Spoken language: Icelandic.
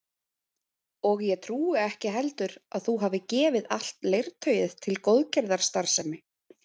Og ég trúi ekki heldur að þú hafir gefið allt leirtauið til góðgerðarstarfsemi